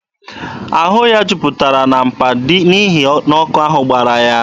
Ahụ ya niile juputara na mpa n'ihi na ọkụ ahụ gbara ya.